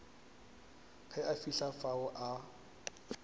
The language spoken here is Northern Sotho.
ge a fihla fao a